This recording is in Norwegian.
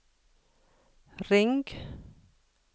ring